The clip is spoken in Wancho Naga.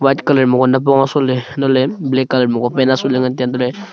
white colour mapu nipong asohley antoley black colour ku pan asohley ngantaiya antohley--